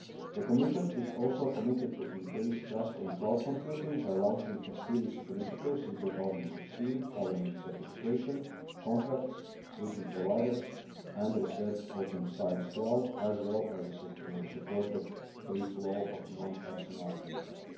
The Commission is also committed to increasing trust in cloud computing by launching a series of initiatives in 2016 covering certification, contracts, switching providers and a research open science cloud, as well as the support of the free flow of non personal